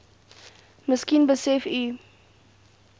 miskien besef u